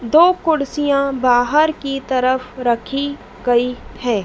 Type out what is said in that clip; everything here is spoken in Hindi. दो कुर्सियां बाहर की तरफ रखी गई हैं।